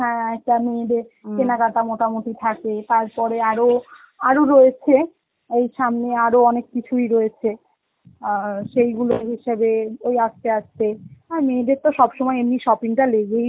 হ্যাঁ তা মেয়েদের কেনাকাটা মোটামুটি থাকে, তারপরে আরো~ আরো রয়েছে ওই সামনে আরো অনেক কিছুই রয়েছে আ সেইগুলো হিসাবে ওই আস্তে আস্তে, আর মেয়েদের তো সব সময়ই এমনি shopping টা লেগেই